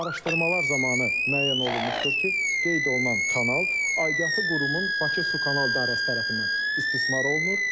Araşdırmalar zamanı müəyyən olunmuşdur ki, qeyd olunan kanal aidiyyatı qurumun Bakı Sukanal İdarəsi tərəfindən istismar olunur.